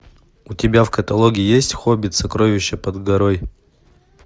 у тебя в каталоге есть хоббит сокровища под горой